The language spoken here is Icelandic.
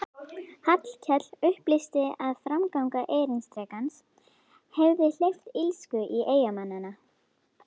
Hallkell upplýsti að framganga erindrekans hefði hleypt illsku í eyjamennina.